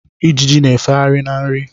Ijiji na-efegharị na nri.